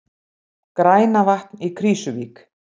Grænavatn í Krýsuvík.